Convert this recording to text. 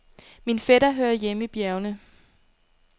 Min fætter hører hjemme i bjergene.